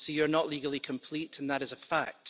So you're not legally complete and that is a fact.